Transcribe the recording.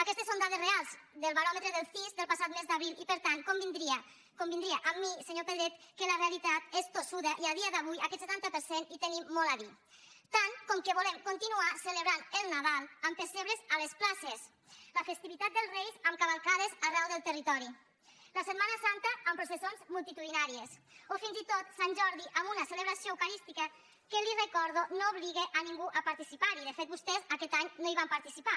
aquestes són dades reals del baròmetre del cis del passat mes d’abril i per tant convindria amb mi senyor pedret que la realitat és tossuda i a dia d’avui aquest setanta per cent hi tenim molt a dir tant com que volem continuar celebrant nadal amb pessebres a les places la festivitat dels reis amb cavalcades arreu del territori la setmana santa amb processons multitudinàries o fins i tot sant jordi amb una celebració eucarística que li ho recordo no obliga a ningú a participar hi de fet vostès aquest any no hi van participar